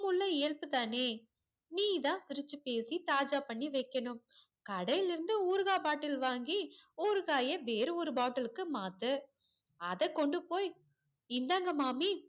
அதுக்குள்ள இயல்புதானே நீ தான் சிரிச்சி பேசி தாஜா பண்ணி வைக்கணும் கடைலருந்து ஊறுகா bottle வாங்கி ஊறுகாய வேற ஒரு bottle க்கு மாத்து அதே கொண்டு போய் இந்தாங்க மாமி